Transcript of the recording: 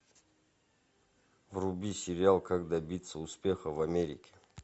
вруби сериал как добиться успеха в америке